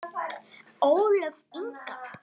Ólöf Inga.